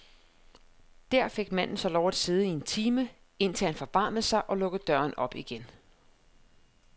Der fik manden så lov at sidde i en time, indtil han forbarmede sig og lukkede døren op igen.